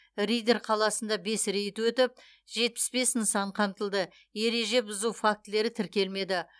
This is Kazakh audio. риддер қаласында бес рейд өтіп жетпіс бес нысан қамтылды ереже бұзу фактілері тіркелмеді